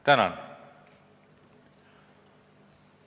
Tänan!